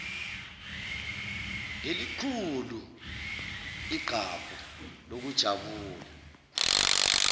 ngelikhulu igqabho lokujabula